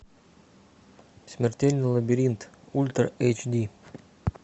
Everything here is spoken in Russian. смертельный лабиринт ультра эйч ди